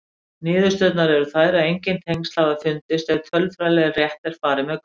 Niðurstöðurnar eru þær að engin tengsl hafa fundist ef tölfræðilega rétt er farið með gögnin.